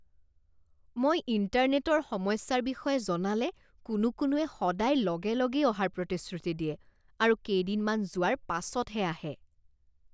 মই ইণ্টাৰনেটৰ সমস্যাৰ বিষয়ে জনালে কোনো কোনোৱে সদায় লগে লগেই অহাৰ প্ৰতিশ্ৰুতি দিয়ে আৰু কেইদিনমান যোৱাৰ পাছতহে আহে।